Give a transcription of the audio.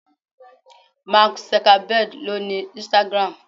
Mark Zuckerberg owns Instagram.